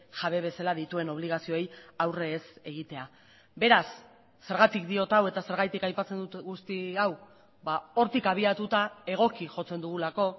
jabe bezala dituen obligazioei aurre ez egitea beraz zergatik diot hau eta zergatik aipatzen dut guzti hau hortik abiatuta egoki jotzen dugulako